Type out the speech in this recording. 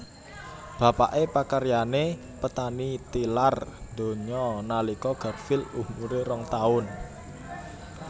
Bapaké pakaryané petani tilar donya nalika Garfield umuré rong taun